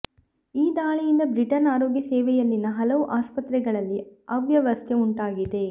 ಈ ದಾಳಿಯಿಂದ ಬ್ರಿಟನ್ ಆರೋಗ್ಯ ಸೇವೆಯಲ್ಲಿನ ಹಲವು ಆಸ್ಪತ್ರೆಗಳಲ್ಲಿ ಅವ್ಯವಸ್ಥೆ ಉಂಟಾಗಿದೆ